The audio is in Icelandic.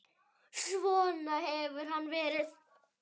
Svona hefur hann verið.